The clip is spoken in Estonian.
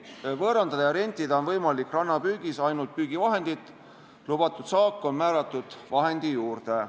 Võõrandada ja rentida on võimalik rannapüügis ainult püügivahendit, lubatud saak on määratud vahendi juurde.